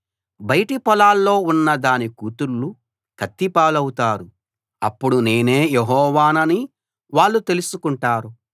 బయటి పొలాల్లో ఉన్న దాని కూతుళ్ళు కత్తి పాలవుతారు అప్పుడు నేనే యెహోవానని వాళ్ళు తెలుసుకుంటారు